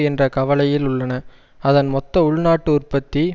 என்ற கவலையில் உள்ளன அதன் மொத்த உள்நாட்டு உற்பத்தி